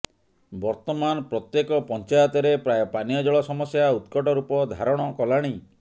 ବର୍ତ୍ତମାନ ପ୍ରତ୍ୟେକ ପଞ୍ଚାୟତରେ ପ୍ରାୟ ପାନୀୟ ଜଳ ସମସ୍ୟା ଉତ୍କଟ ରୂପ ଧାରଣ କଲାଣି